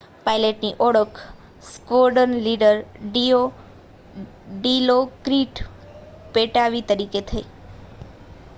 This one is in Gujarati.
પાઇલટની ઓળખ સ્ક્વૉડ્રન લીડર ડિલોક્રિટ પૅટ્ટાવી તરીકે થઈ